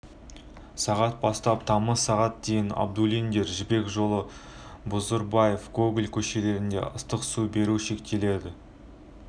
сағат бастап тамыз сағат дейін абдуллиндер жібек жолы бузурбаев гоголь көшелерінде ыстық су беру шектеледі